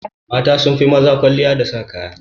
Mata sunfi maza kwalliya da sa kaya.